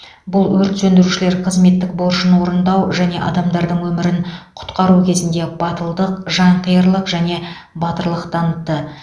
бұл өрт сөндірушілер қызметтік борышын орындау және адамдардың өмірін құтқару кезінде батылдық жанқиярлық және батырлық танытты